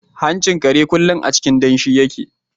Hanchin kare kullum a cikin danshi yake.